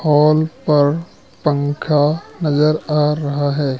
Hall पर पंखा नजर आ रहा है।